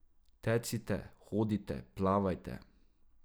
Tecite, hodite, plavajte ...